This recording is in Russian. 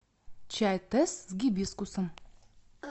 чай тесс с гибискусом